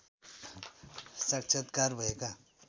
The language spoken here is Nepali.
साक्षात्कार भएका